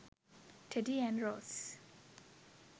teddy and rose